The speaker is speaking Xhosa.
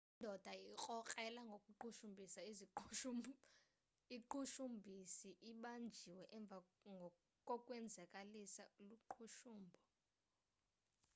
le ndoda irkrokrelwa ngokuqhushumbhisa iziqhushumbhisi ibanjiwe emva kokwenzakaliswa luqhushumbo